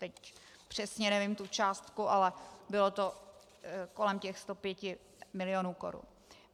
Teď přesně nevím tu částku, ale bylo to kolem těch 105 mil. korun.